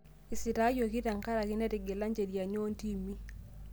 Esitaayioki tenkarake netigila njeriani oontimi